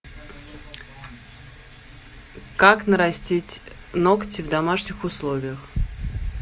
как нарастить ногти в домашних условиях